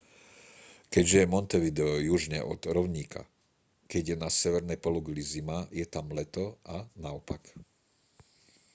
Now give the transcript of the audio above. keďže je montevideo južne od rovníka keď je na severnej pologuli zima je tam leto a naopak